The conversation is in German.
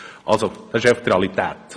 Das ist also einfach die Realität.